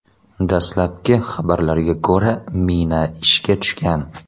Dastlabki xabarlarga ko‘ra, mina ishga tushgan.